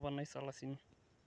toponai salasini